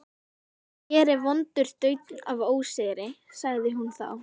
Hér er vondur daunn af ósigri, sagði hún þá.